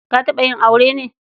Ta taɓa yin aure ne?